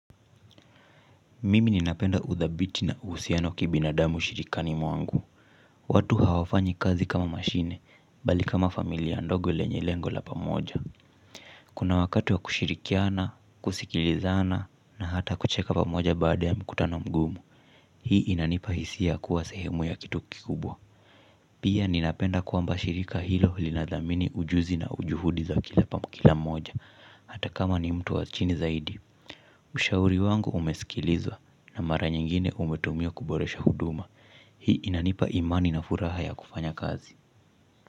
Mimi ninapenda udhabiti na usiano kibinadamu ushirikani mwangu. Watu hawafanyi kazi kama mashine mbali kama familia ndogo lenye lengo la pamoja. Kuna wakati wa kushirikiana, kusikilizana na hata kucheka pamoja baada ya mkutano mgumu. Hii inanipa hisia kuwa sehemu ya kitu kikubwa. Pia ninapenda kuamba shirika hilo linadhamini ujuzi na juhudi za kila mmoja. Hata kama ni mtu wa chini zaidi ushauri wangu umesikilizwa na mara nyingine umetumiwa kuboresha huduma. Hii inanipa imani na furaha ya kufanya kazi.